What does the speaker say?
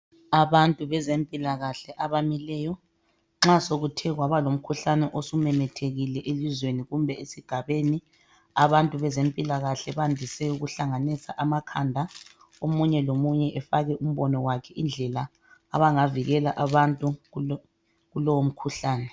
Abantu bezempilakahle abamileyo nxa sokuthe kwaba lomkhuhlane osumemethekile elizweni kumbe esigabeni, abantu bezempilakahle bandise ukuhlanganisa amakhanda omunye lomunye efake umbono wakhe indlela abangavikela abantu kulowo mkhuhlane.